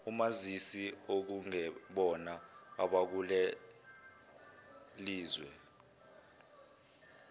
omazisi okungebona abakulelizwe